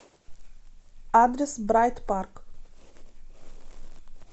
адрес брайт парк